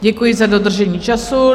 Děkuji za dodržení času.